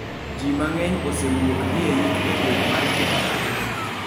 Ji mang'eny osewuok dhi eyik e gweng' mar Tehran.